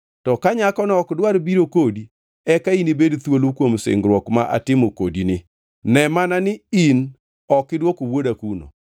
To ka nyakono ok dwar biro kodi, eka inibed thuolo kuom singruok ma atimo kodini. Ne mana ni ok idwoko wuoda kuno.”